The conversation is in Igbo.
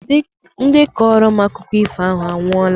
Ndị kọrọ m akụkọ ifo ahụ anwụọla